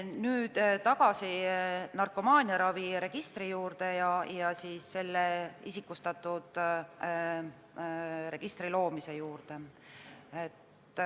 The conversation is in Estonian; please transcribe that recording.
Nüüd tagasi narkomaaniaraviregistri ja isikustatud registri loomise juurde.